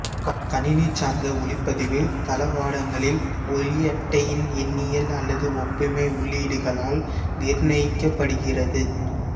கணினி சார்ந்த ஒலிப்பதிவு தளவாடங்களில் ஒலியட்டையின் எண்ணியல் அல்லது ஒப்புமை உள்ளீடுகளால் நிர்ணயிக்கப்படுகிறது